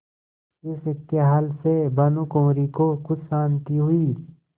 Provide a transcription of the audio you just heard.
इस खयाल से भानुकुँवरि को कुछ शान्ति हुई